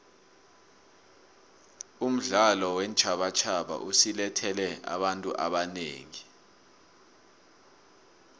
umdlalo weentjhabatjhaba usilethele abantu abanengi